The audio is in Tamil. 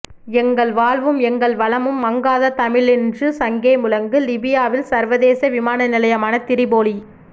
எங்கள் வாழ்வும் எங்கள் வளமும் மங்காத தமிழென்று சங்கே முழங்கு லிபியாவில் சர்வதேச விமான நிலையமான திரிபோலி